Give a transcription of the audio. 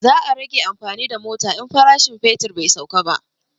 Za a rage amfani da mota in farashin fetur bai sauka ba